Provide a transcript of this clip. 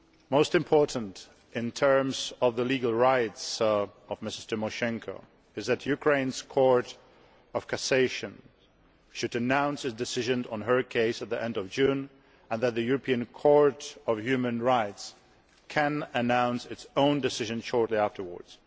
Most important, in terms of Ms Tymoshenko's legal rights, is that Ukraine's Court of Cassation should announce its decision on her case at the end of June, and that the European Court of Human Rights can announce its own decision shortly afterwards.